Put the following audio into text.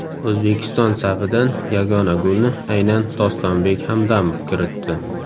O‘zbekiston safidan yagona golni aynan Dostonbek Hamdamov kiritdi.